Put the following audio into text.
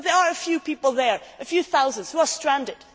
UNHCR. But there are a few people there, a few thousand, who are